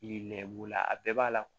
Yi nɛn b'o la a bɛɛ b'a la